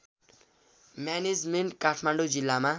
management Kathmandu जिल्लामा